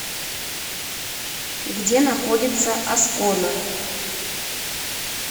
где находится аскона